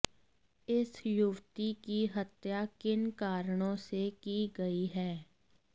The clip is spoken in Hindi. इस युवती की हत्या किन कारणों से की गई है